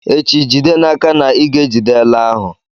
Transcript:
Echi, jide n'aka na ị ga-ejide ele ahụ